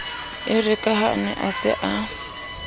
erekaha a ne a sa